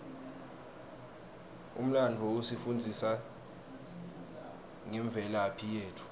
umlandvo usifundzisa ngemvelaphi yetfu